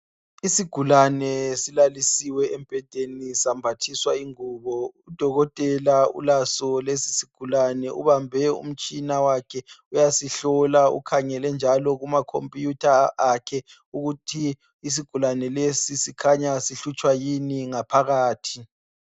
Isigulane silalisiwe embhedeni sambathiswa ingubo udokotela ulaso lesi sigulane ubambe umtshina wakhe uyasihlola ukhangele njalo kuma khompuyutha akhe ukuthi isigulane lesi sikhanya sihlutshwa yini ngaphakathi.